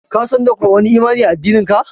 Ka San da ko wani imani a. addinin ka?